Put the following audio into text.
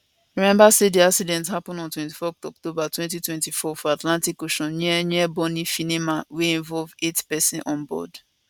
rememba say di accident happun on 24 october 2024 for atlantic ocean near near bonny finima wey involve eight pesins onboard